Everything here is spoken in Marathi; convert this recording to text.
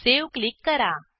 सावे क्लिक करा